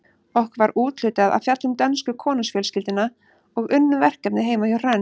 Okkur var úthlutað að fjalla um dönsku konungsfjölskylduna og unnum verkefnið heima hjá Hrönn.